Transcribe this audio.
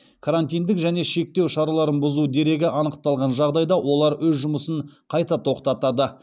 карантиндік және шектеу шараларын бұзу дерегі анықталған жағдайда олар өз жұмысын қайта тоқтатады